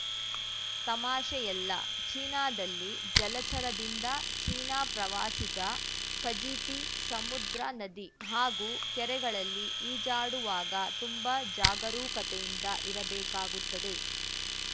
ತಮಾಷೆಯಲ್ಲ ಚೀನಾದಲ್ಲಿ ಜಲಚರದಿಂದ ಚೀನಾ ಪ್ರವಾಸಿಗ ಫಜೀತಿ ಸಮುದ್ರ ನದಿ ಹಾಗೂ ಕೆರೆಗಳಲ್ಲಿ ಈಜಾಡುವಾಗ ತುಂಬಾ ಜಾಗರೂಕತೆಯಿಂದ ಇರಬೇಕಾಗುತ್ತದೆ